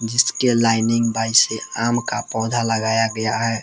जिसके लाइनिंग बाइ से आम का पौधा लगाया गया है।